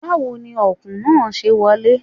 Báwo ni Ọ̀kùn náà ṣe wọlé?